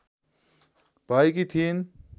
भएकी थिइन्